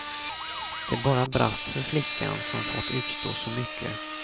Det bara brast för flickan som fått utstå så mycket.